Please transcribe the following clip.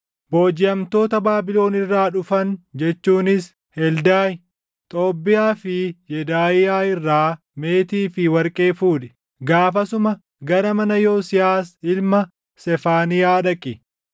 “Boojiʼamtoota Baabilon irraa dhufan jechuunis Heldaayi, Xoobbiyaa fi Yedaaʼiyaa irraa meetii fi warqee fuudhi. Gaafasuma gara mana Yosiyaas ilma Sefaaniyaa dhaqi.